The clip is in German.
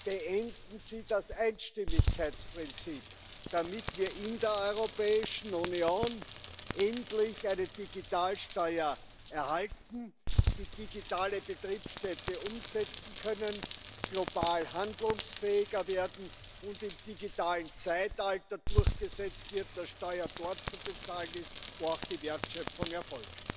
Beenden Sie das Einstimmigkeitsprinzip, damit wir in der Europäischen Union endlich eine Digitalsteuer erhalten, die digitale Betriebsstätte umsetzen können, global handlungsfähiger werden und im digitalen Zeitalter durchgesetzt wird, dass Steuer dort zu bezahlen ist, wo auch die Wertschöpfung erfolgt!